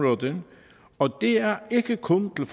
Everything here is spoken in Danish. det er ikke kun til